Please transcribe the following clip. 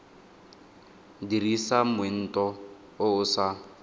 dirisa moento o o sa